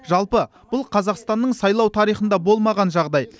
жалпы бұл қазақстанның сайлау тарихында болмаған жағдай